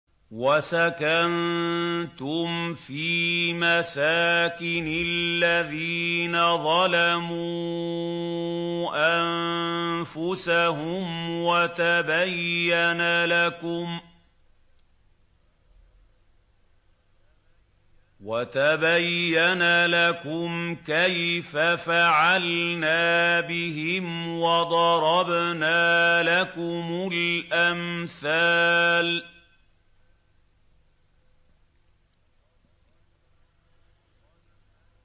وَسَكَنتُمْ فِي مَسَاكِنِ الَّذِينَ ظَلَمُوا أَنفُسَهُمْ وَتَبَيَّنَ لَكُمْ كَيْفَ فَعَلْنَا بِهِمْ وَضَرَبْنَا لَكُمُ الْأَمْثَالَ